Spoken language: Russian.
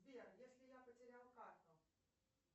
сбер если я потерял карту